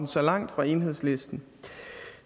så langt fra enhedslisten